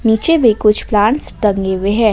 नीचे भी कुछ प्लांट्स टंगे हुए हैं।